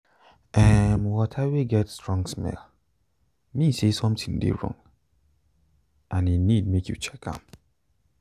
um water wey get strong smell mean say something de wrong and e need make you check um am